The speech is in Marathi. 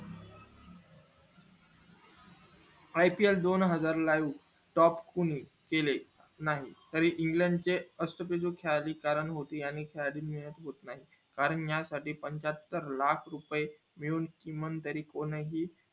ipl दोन हजार live top कुणी केले नाही तरी england चे कारण या साठी पंचाहत्तर लाख रुपये मिळवून तरीही कोणही